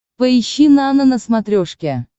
поищи нано на смотрешке